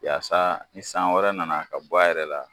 Yaasa ni san wɛrɛ nana ka bɔ a yɛrɛ la